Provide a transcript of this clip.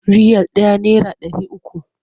Riyal ɗaya naira ɗari uku.